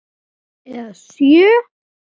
Eða sjö.